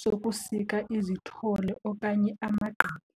sokusika izithole okanye amagqabi.